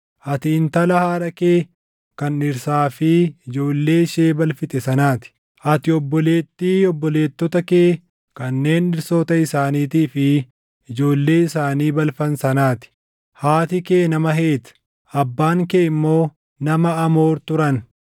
Ati intala haadha kee kan dhirsaa fi ijoollee ishee balfite sanaa ti; ati obboleettii obboleettota kee kanneen dhirsoota isaaniitii fi ijoollee isaanii balfan sanaa ti. Haati kee nama Heeti, abbaan kee immoo nama Amoor turan.